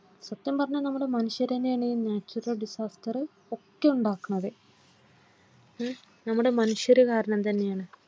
സത്യം പറഞ്ഞാൽ നമ്മുടെ മനുഷ്യർ തന്നെയാണ് നമ്മുടെ natural disaster ഒക്കെ ഉണ്ടാക്കുന്നത്ഏഹ് നമ്മുടെ മനുഷ്യർ കാരണം തന്നെയാണ്.